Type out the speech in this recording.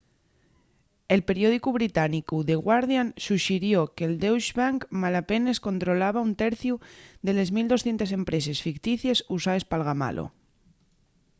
el periódicu británicu the guardian suxirió que'l deutsche bank malapenes controlaba un terciu de les 1200 empreses ficticies usaes p'algamalo